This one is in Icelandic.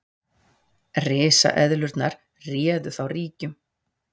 Risaeðlurnar réðu þá ríkjum.